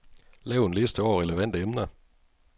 Lav en liste over relevante emner.